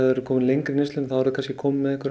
er komið lengra í neyslunni þá eru þau komin með einhvern